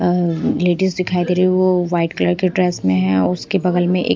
ladies दिखाई दे रही है वो वाइट कलर के ड्रेस में है उसके बगल में एक--